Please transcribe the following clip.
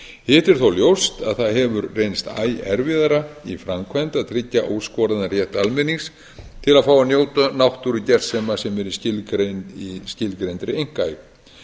er þó ljóst að það hefur reynst æ erfiðara í framkvæmd að tryggja óskoraðan rétt almennings til að fá að njóta náttúrugersema sem eru í skilgreindri einkaeign